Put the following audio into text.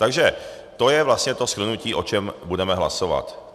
Takže to je vlastně to shrnutí, o čem budeme hlasovat.